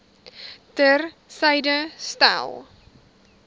ter syde stel